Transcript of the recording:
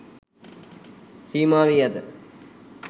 සීමා වී ඇත.